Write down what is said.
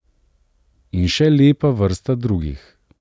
In še lepa vrsta drugih.